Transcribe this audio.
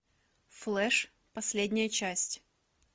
флэш последняя часть